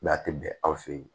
a tɛ bɛn aw fɛ yen